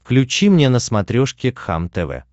включи мне на смотрешке кхлм тв